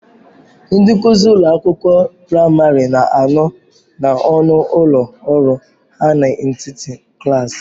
Ndị nkuzi ụlọ akwụkwọ praịmarị na-anọ n'ọnụ ụlọ ọrụ ha n'etiti klaasị.